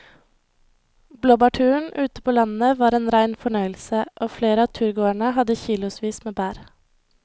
Blåbærturen ute på landet var en rein fornøyelse og flere av turgåerene hadde kilosvis med bær.